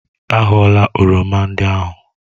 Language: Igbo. A ghọla oroma ndị ahụ!